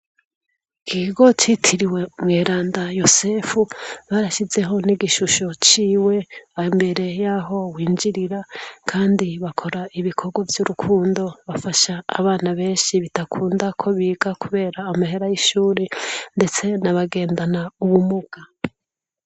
Ikigo citiriwe Umweranda Yozefu, barashizeho n'igishusho ciwe aho imbere y'aho winjirira, kandi bakora ibikorwa vy'urukundo. Bafasha abana benshi bidakunda ko biga kubera amahera y'ishuri, ndetse n'abagendana ubumuga.